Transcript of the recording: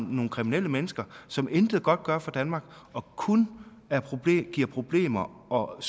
nogle kriminelle mennesker som intet godt gør for danmark og kun giver problemer og